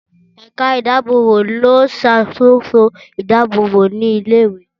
Ẹ̀ka ìdábòbò ló ń ṣàkóso idábòbò ilé ìwé